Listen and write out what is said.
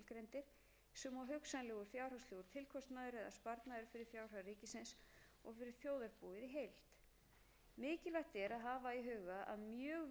er að hafa í huga að mjög víða eru í gildi einhvers konar takmarkanir um hvaða